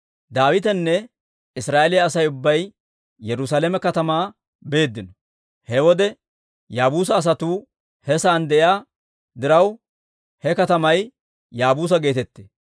Daawitenne Israa'eeliyaa Asay ubbay Yerusaalame katamaa beeddino. He wode Yaabuusa asatuu he sa'aan de'iyaa diraw, he katamay Yaabuusa geetettee.